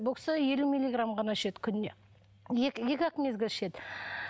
бұл кісі елу миллиграмм ғана ішеді күніне екі ақ мезгіл ішеді